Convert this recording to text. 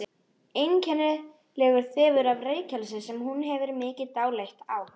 Einkennilegur þefur af reykelsi sem hún hefur mikið dálæti á.